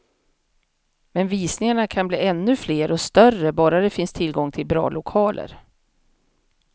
Men visningarna kan bli ännu fler och större, bara det finns tillgång till bra lokaler.